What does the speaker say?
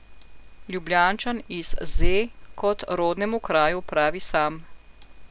Ljubljančan iz Ze, kot rodnemu kraju pravi sam.